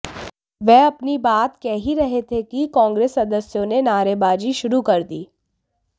वह अपनी बात कह ही रहे थे कि कांग्रेस सदस्यों ने नारेबाजी शरू कर दी